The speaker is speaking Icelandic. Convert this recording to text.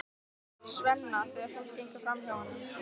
Svenna þegar fólk gengur framhjá honum.